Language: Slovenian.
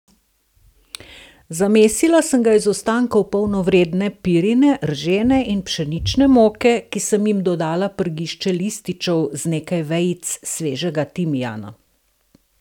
Zamesila sem ga iz ostankov polnovredne pirine, ržene in pšenične moke, ki sem jim dodala prgišče lističev z nekaj vejic svežega timijana!